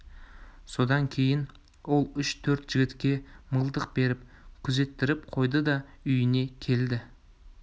содан кейін ол үш-төрт жігітке мылтық беріп күзеттіріп қойды да үйіне келді